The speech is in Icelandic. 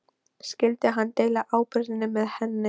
Skyldi hann deila ábyrgðinni með henni?